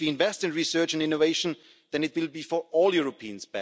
And if we invest in research and innovation, then it will be better for all Europeans.